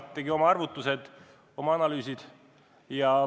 Tegi oma arvutused, oma analüüsid.